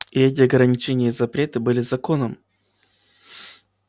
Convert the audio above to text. и эти ограничения и запреты были законом